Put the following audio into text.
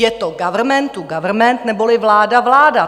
Je to government-to-government neboli vláda-vláda.